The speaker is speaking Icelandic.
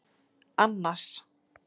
Annas